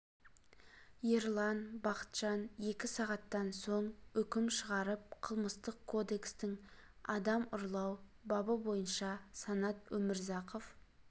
ерлан бақытжан екі сағаттан соң үкім шығарып қылмыстық кодекстің адам ұрлау бабы бойынша санат өмірзақов